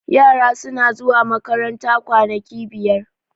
yara suna zuwa makaranta kwanaki biyar